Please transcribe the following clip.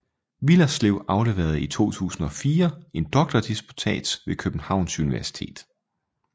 Willerslev afleverede i 2004 en doktordisputats ved Københavns Universitet